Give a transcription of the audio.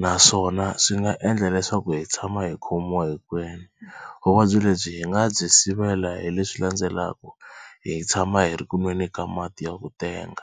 naswona swi nga endla leswaku hi tshama hi khomiwa hinkwenu. Vuvabyi lebyi hi nga byi sivela hi leswi landzelaka hi tshama hi ri ku nweni ka mati ya ku tenga.